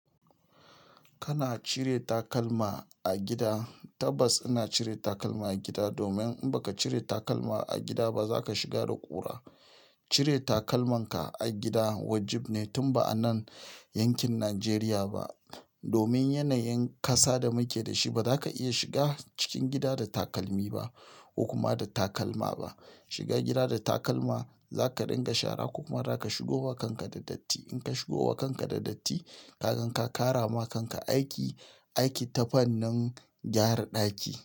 Kana cire takalma a gida? Tabbas ina cire takalma a gida domin in ba ka cire takalma a gida ba za ka shiga da ƙura. Cire takalmanka a gida wajib ne tun ba a nan yankin Nijeriya ba. Domin yanayin kasa da muke da shi ba da ka iya shiga cikin gida da takalmi ba, ko kuma da takalma ba. Shiga gida da takalma za ka dinga shara kuma za ka shigo wa kanka da datti. In ka shigo wa kanka da datti, ka gan ka kara ma kanka aiki, aiki ta fannin gyara ɗaki.